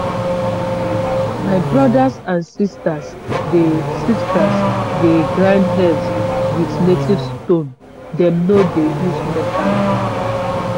my brothers and sisters dey sisters dey grind herbs with native stone dem no dey use metal.